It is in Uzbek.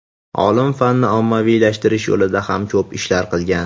Olim fanni ommaviylashtirish yo‘lida ham ko‘p ishlar qilgan.